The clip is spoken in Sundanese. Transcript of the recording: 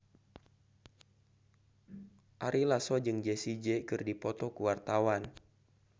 Ari Lasso jeung Jessie J keur dipoto ku wartawan